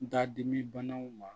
Da dimi banaw ma